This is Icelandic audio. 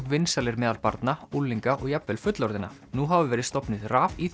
vinsælir meðal barna unglinga og jafnvel fullorðinna nú hafa verið stofnuð